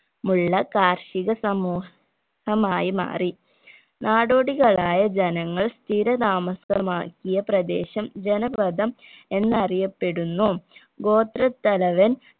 മുള്ള കാർഷിക സമൂഹമായി മാറി നാടോടികളായ ജനങ്ങൾ സ്ഥിര താമസമാക്കിയ പ്രദേശം ജനവ്രതം എന്നറിയപ്പെടുന്നു ഗോത്രത്തലവൻ